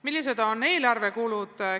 Millised on eelarvekulud?